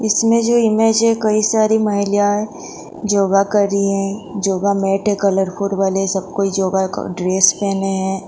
इसमें जो इमेज है कई सारे महिलाये योगा कर रही है योगा में बैठे योगा का ड्रेस पहने है।